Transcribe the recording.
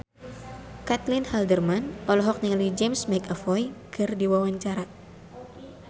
Caitlin Halderman olohok ningali James McAvoy keur diwawancara